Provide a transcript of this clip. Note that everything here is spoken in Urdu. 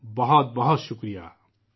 بہت بہت شکریہ!